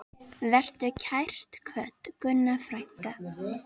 Vertu kært kvödd, Gunna frænka.